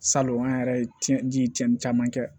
Salon an yɛrɛ ye tiɲɛ di cɛnni caman kɛ